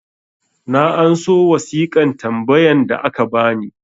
na anso wasiƙan tambayan da aka bani